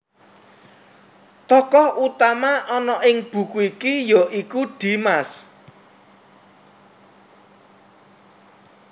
Tokoh utama ana ing buku iki ya iku Dimas